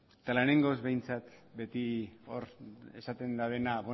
eta lehenengoz behintzat beti esaten dabena